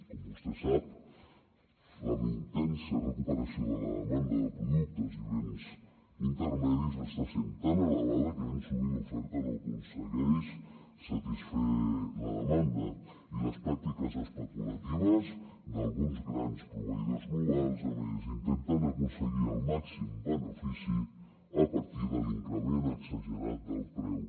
com vostè sap la intensa recuperació de la demanda de productes i béns intermedis està sent tan elevada que ben sovint l’oferta no aconsegueix satisfer la demanda i les pràctiques especulatives d’alguns grans proveïdors globals a més intenten aconseguir el màxim benefici a partir de l’increment exagerat del preu